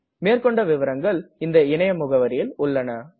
மேற்கொண்டு விவரங்கள் இந்த இணைய முகவரியில் உள்ளது